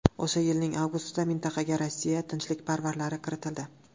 O‘sha yilning avgustida mintaqaga Rossiya tinchlikparvarlari kiritildi.